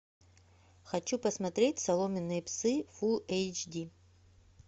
хочу посмотреть соломенные псы фул эйч ди